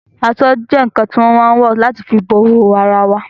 Aṣọ́ jẹ́ ǹǹkan tí a má ǹ wọ̀ láti fi bo ìhòòhò ara wae